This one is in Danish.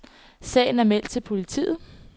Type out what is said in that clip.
Sagen er meldt til politiet.